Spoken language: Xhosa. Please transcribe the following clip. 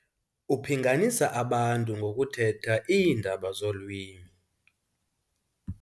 Uphinganisa abantu ngokuthetha iindaba zolwimi